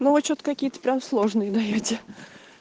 но вы что-то какие-то прямо сложные даёте